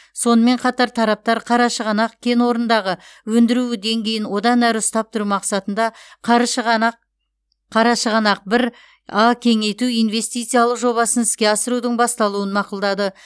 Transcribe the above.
сонымен қатар тараптар қарашығанақ кен орнындағы өндіру деңгейін одан әрі ұстап тұру мақсатында қаршығанақ қарашығанақ бір а кеңейту инвестициялық жобасын іске асырудың басталуын мақұлдады